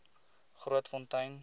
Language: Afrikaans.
grootfontein